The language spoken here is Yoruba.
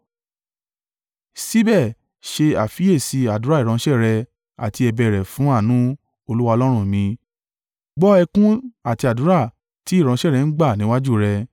Síbẹ̀ ṣe àfiyèsí àdúrà ìránṣẹ́ rẹ àti ẹ̀bẹ̀ rẹ̀ fún àánú, Olúwa Ọlọ́run mi, gbọ́ ẹkún àti àdúrà tí ìránṣẹ́ rẹ̀ ń gbà níwájú rẹ.